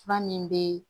Fura min bɛ